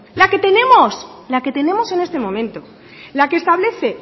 la que tenemos la que tenemos en este momento la que establece